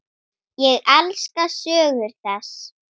Ég elska sögur þess.